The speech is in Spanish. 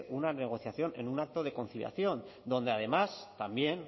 una negociación en un acto de conciliación donde además también